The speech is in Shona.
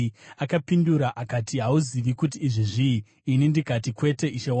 Akapindura akati, “Hauzivi kuti izvi zvii?” Ini ndikati, “Kwete, ishe wangu.”